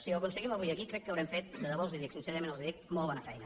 si ho aconseguim avui aquí crec que haurem fet de debò els ho dic sincerament els ho dic molt bona feina